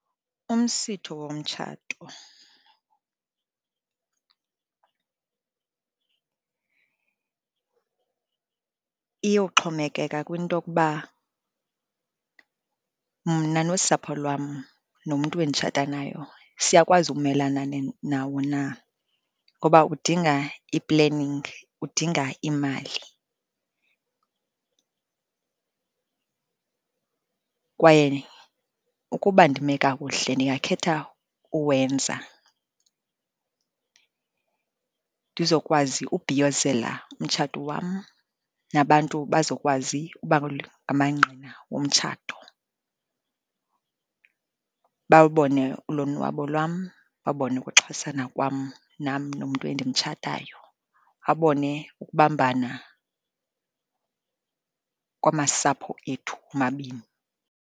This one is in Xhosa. Umsitho womtshato iyowuxhomekeka kwinto yokuba mna nosapho lwam nomntu enditshata nayo siyakwazi ukumelana nawo na, ngoba udinga i-planning, udinga imali, kwaye ukuba ndime kakuhle ndingakhetha uwenza ndizokwazi ubhiyozela umtshato wam, nabantu bazokwazi uba ngamangqina womtshato. Bawubone ulonwabo lwam, babone ukuxhasana kwam nam nomntu endimtshatayo, abone ukubambana kwamasapho ethu omabini.